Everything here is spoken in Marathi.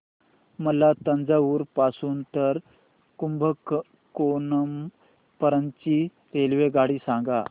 मला तंजावुर पासून तर कुंभकोणम पर्यंत ची रेल्वेगाडी सांगा